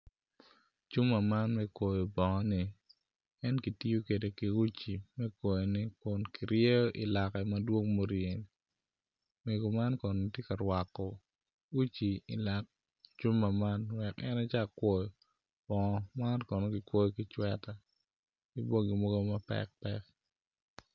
Cuma man me kwoyo bongo-ni en kitiyo kwede ki uci me kwoyone kun kiryeyo ilake madwong muryeni mego man kono tye ka rwako uci ilak cuma man wek en ecak kwoyo bongo man kono kikwoyo ki cweta ki bongi mogo ma mapekpek.